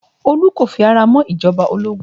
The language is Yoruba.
Olu kò fi ara mọ́ ìjọba ológun